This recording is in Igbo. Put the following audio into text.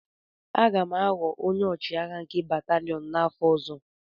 Aga m aghọ onye ọchịagha nke batalịon a n'afọ ọzọ